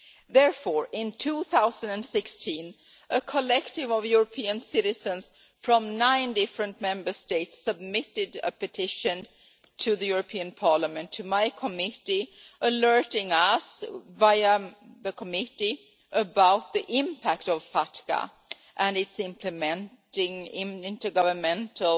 Therefore, in 2016, a collective of European citizens from nine different Member States submitted a petition to Parliament, to my committee, alerting us via the committee about the impact of FATCA, and its implementing intergovernmental